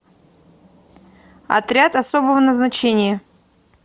отряд особого назначения